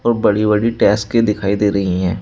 और बड़ी बड़ी डेस्के दिखाई दे रही है।